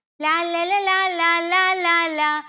ലാല്ലല ലാലാ ലാലാ ലാ.